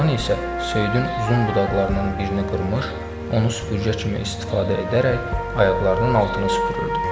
Oğlan isə söyüdün uzun budaqlarından birini qırmış, onu süpürgə kimi istifadə edərək ayaqlarının altını süpürürdü.